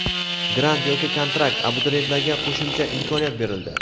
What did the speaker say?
Grant yoki kontrakt: Abituriyentlarga qo‘shimcha imkoniyat berildi.